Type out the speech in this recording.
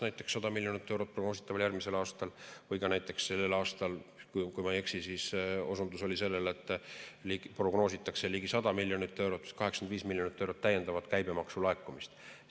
Näiteks, 100 miljonit eurot järgmisel aastal või ka näiteks sellel aastal, kui ma ei eksi – osundus oli sellele, et prognoositakse ligi 100 miljonit eurot, 85 miljonit eurot täiendavat käibemaksu laekumist.